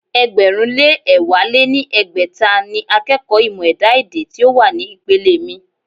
ẹgbẹ̀rún lé ẹ̀wá lé ní ẹgbẹ́ta ni akẹ́kọ̀ọ́ ìmọ̀ ẹ̀dá-èdè tí ó wà ní ìpele mi.